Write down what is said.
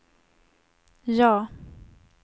ja